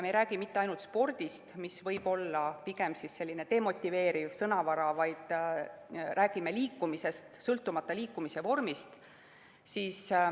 Me ei räägi mitte ainult spordist, mis võib olla pigem selline demotiveeriv sõna, vaid räägime liikumisest, sõltumata liikumise vormist.